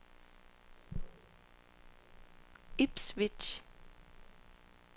Ipswich